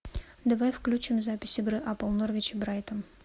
давай включим запись игры апл норвич и брайтон